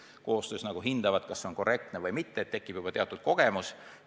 Nad koostöö käigus hindavad, kas see töö on korrektne või mitte, ja nii tekib juba teatud kogemus.